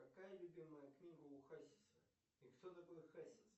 какая любимая книга у хасиса и кто такой хасис